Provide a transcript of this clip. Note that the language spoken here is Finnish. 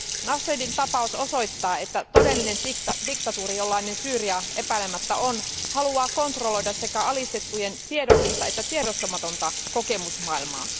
Nashidin tapaus osoittaa, että todellinen diktatuuri, jollainen Syyria epäilemättä on, haluaa kontrolloida sekä alistettujen tiedollista että tiedostamatonta kokemusmaailmaa.